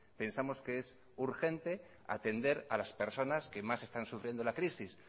pensamos que es urgente atender a las personas que más están sufriendo la crisis